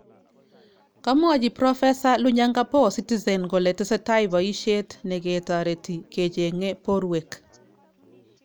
Kamwochi Profesa Lonyangapuo citizen kole tesetai boisyet neketaretii kecheng'e borwek